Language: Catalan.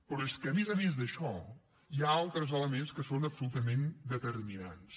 però és que a més a més d’això hi ha altres elements que són absolutament determinants